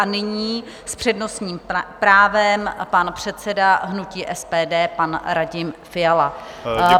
A nyní s přednostním právem pan předseda hnutí SPD, pan Radim Fiala.